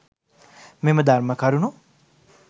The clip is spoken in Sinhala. මෙම ධර්ම කරුණු